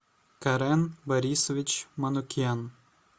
карен борисович манукян